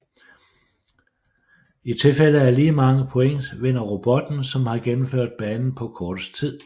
I tilfælde af lige mange points vinder robotten som har gennemført banen på kortest tid